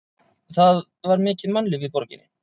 Það var mikið mannlíf í borginni.